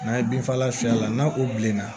N'an ye bin fagala fiyɛ a la n'a o bilenna